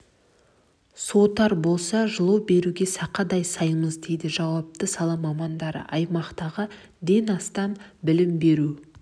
суытар болса жылу беруге сақадай саймыз дейді жауапты сала мамандары аймақтағы ден астам білім беру